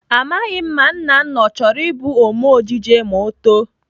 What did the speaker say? Amaghị m ma Nnanna ọ chọrọ ịbụ Ome ejije ma ọ too.